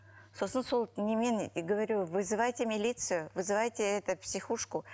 сосын сол немен мен говорю вызывайте милицию вызывайте это психушку